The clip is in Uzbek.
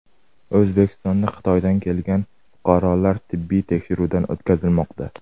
O‘zbekistonda Xitoydan kelgan fuqarolar tibbiy tekshiruvdan o‘tkazilmoqda.